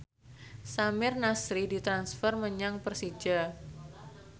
Samir Nasri ditransfer menyang Persija